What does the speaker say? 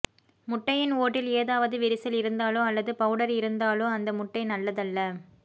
முட்டையின் ஓட்டில் ஏதாவது விரிசல் இருந்தாலோ அல்லது பவுடர் இருந்தாலோ அந்த முட்டை நல்லதல்ல